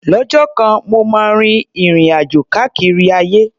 Lọ́jọ́ kan, mo máa rin ìrìn-àjò káàkiri ayé.